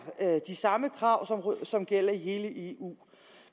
de samme krav som gælder i hele eu